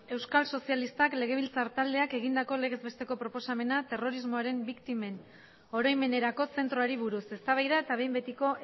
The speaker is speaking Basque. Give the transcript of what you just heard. euskal sozialistak legebiltzar taldeak egindako legez besteko proposamena terrorismoaren biktimen oroimenerako zentroari buruz eztabaida eta behin betiko